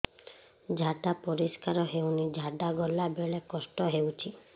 ଝାଡା ପରିସ୍କାର ହେଉନି ଝାଡ଼ା ଗଲା ବେଳେ କଷ୍ଟ ହେଉଚି